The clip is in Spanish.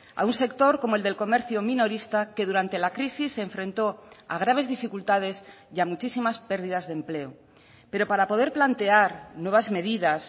a un sector como el del comercio minorista que durante la crisis se enfrentó a graves dificultades y a muchísimas pérdidas de empleo pero para poder plantear nuevas medidas